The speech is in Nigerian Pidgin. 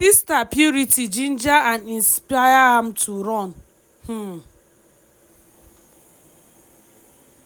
im sister purity ginger and inspire am to run." um